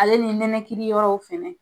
Ale ni nɛnɛkili yɔrɔw fɛnɛ.